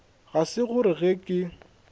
ga se gore ge ke